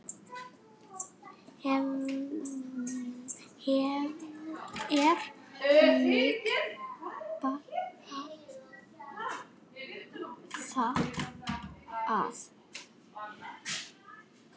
Hvernig bar það að?